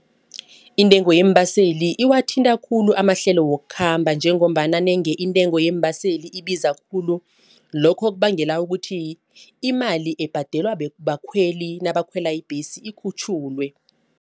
Intengo yeembaseli wathinta khulu amahlelo wokukhamba njengombana nenge intengo yeembaseli ibiza khulu. Lokho kubangela ukuthi imali ebhadelwa bakhweli nabakhwela ibhesi ikhutjhulwe.